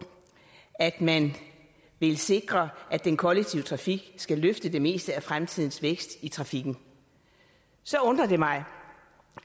at man vil sikre at den kollektive trafik skal løfte det meste af fremtidens vækst i trafikken så undrer det mig